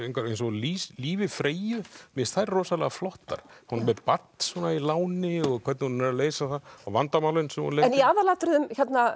eins og í lífi Freyju mér finnst þær rosalega flottar hún er með barn í láni og hvernig hún leysir það vandamálin sem hún lendir í aðalatriðum